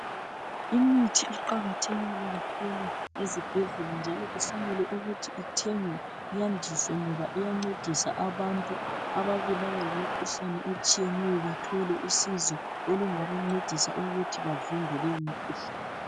Imithi iqakathekile kakhulu ezibhedlela njalo kufanele ukuthi ithengwe iyandiswe ngoba iyancedisa abantu ababulawa yimikhuhlane etshiyeneyo bathole usizo olungabancedisa ukuthi bavimbe leyi mikhuhlane.